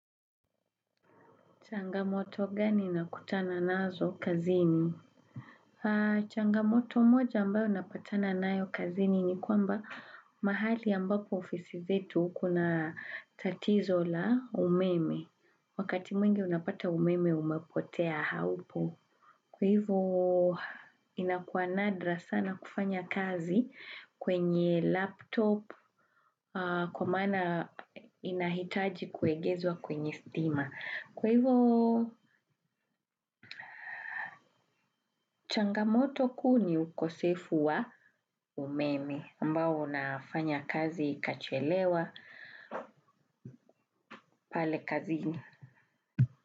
Changamoto gani nakutana nazo kazini? Changamoto moja ambayo napatana naayo kazini ni kwamba mahali ambapo ofisi zetu kuna tatizo la umeme. Wakati mwingi unapata umeme umepotea haupo. Kwa hivo inakuanadra sana kufanya kazi kwenye laptop kwa mana inahitaji kuegezwa kwenye stima. Kwa hivo changamoto ku ni ukosefu wa umeme ambao unafanya kazi ikachelewa pale kazini.